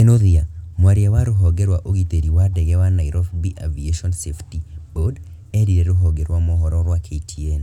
Kinuthia, mwaria wa rũhonge rwa ũgitĩri wa ndege wa Nairobi Aviation Safety Board, eerire rũhonge rwa mohoro rwa KTN.